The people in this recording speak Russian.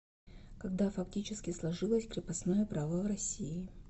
когда фактически сложилось крепостное право в россии